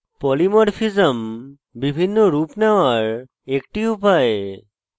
polymorphism বিভিন্ন রুপ নেওয়ার একটি উপায়